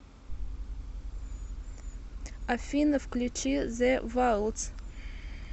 афина включи зе ваултс